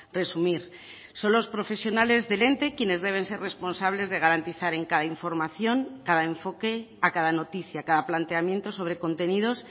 resumir son los profesionales del ente quienes deben ser responsables de garantizar en cada información cada enfoque a cada noticia cada planteamiento sobre contenidos